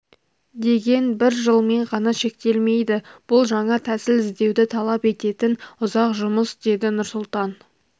деген бір жылмен ғана шектелмейді бұл жаңа тәсіл іздеуді талап ететін ұзақ жұмыс деді нұрсұлтан